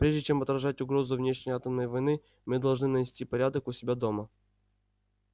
прежде чем отражать угрозу внешней атомной войны мы должны навести порядок у себя дома